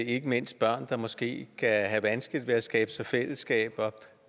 ikke mindst børn der måske kan have vanskeligt ved at skabe sig fællesskaber